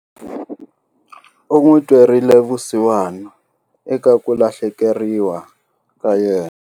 U n'wi twerile vusiwana eka ku lahlekeriwa ka yena.